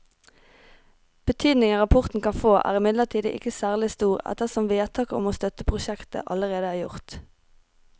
Betydningen rapporten kan få er imidlertid ikke særlig stor ettersom vedtaket om å støtte prosjektet allerede er gjort.